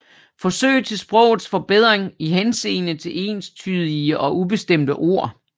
Forsøg til Sprogets Forbedring i Henseende til enstydige og ubestemte Ord